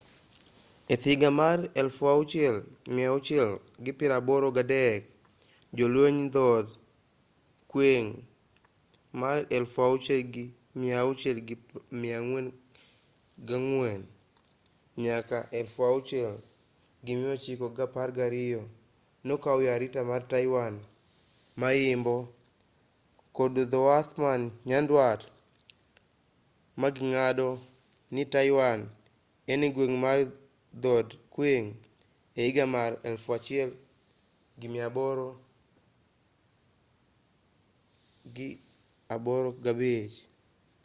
ehiga mar 1683 jolweny dhod qing 1644-1912 nokaw arita mar taiwan ma-yimbo kod dhowath man nyandwat maging'ado ni taiwan en gweng' mar dhod qing ehiga mar 1885